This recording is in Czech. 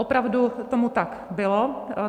Opravdu tomu tak bylo.